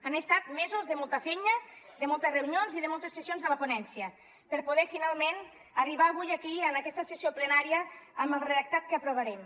han estat mesos de molta feina de moltes reunions i de moltes sessions de la ponència per poder finalment arribar avui aquí en aquesta sessió plenària amb el redactat que aprovarem